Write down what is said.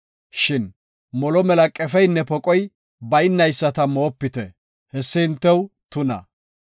Shin molo mela qefeynne poqoy baynayisata moopite hessi hintew tuna.